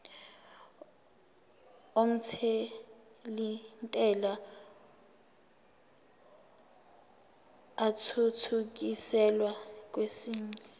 omthelintela athuthukiselwa kwesinye